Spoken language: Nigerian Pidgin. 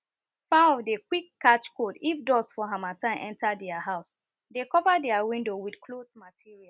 fowl dey quick catch cold if dust for harmattan enter their house dey cover their window with